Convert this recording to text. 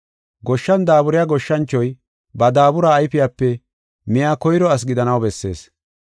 Goshshan daaburiya goshshanchoy ba daabura ayfiyape miya koyro asi gidanaw bessees.